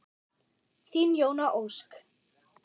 Þín Jóna Ósk.